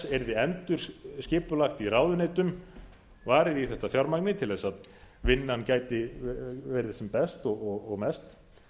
yrði endurskipulagt í ráðuneytum varið í þetta fjármagni til þess að vinnan gæti verið sem best og mest